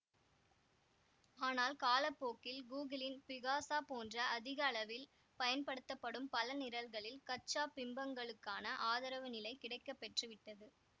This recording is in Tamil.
ஆனால் கால போக்கில் கூகிளின் பிகாசா போன்ற அதிக அளவில் பயன்படுத்தப்படும் பல நிரல்களில் கச்சா பிம்பங்களுக்கான ஆதரவு நிலை கிடைக்கப்பெற்று விட்டது